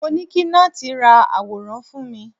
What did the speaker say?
mo ni kí Nath ra aworan fún mi